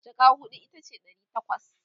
jaka huɗu itace Dari takwas